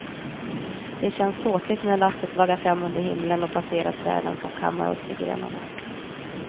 Det känns ståtligt när lasset vaggar fram under himlen och passerar träden, som kammar oss med grenarna.